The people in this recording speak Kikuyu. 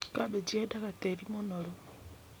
Kambĩnji yeendaga tĩri mũnoru.